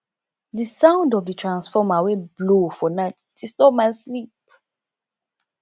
di sound of di transformer wey blow for night disturb my sleep